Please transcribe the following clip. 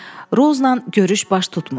Rozla görüş baş tutmur.